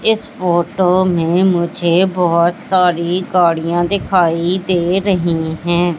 इस फोटो में मुझे बहोत सारी गाड़ियां दिखाई दे रही है।